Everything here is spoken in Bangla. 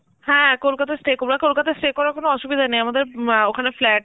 হ্যাঁ কলকাতা stay করব, আর কলকাতা stay করার কোন অসুবিধা নেই, আমাদের মা আঁ ওখানে flat